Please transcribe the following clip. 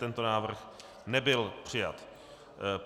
Tento návrh nebyl přijat.